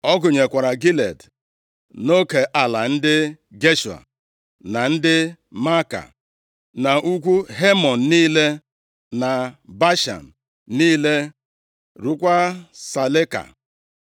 Ọ gụnyekwara Gilead, nʼoke ala ndị Geshua, na ndị Maaka, na ugwu Hemon niile, na Bashan niile, ruokwa Saleka.